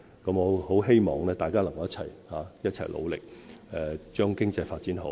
我很希望大家能夠一起努力，將經濟發展好。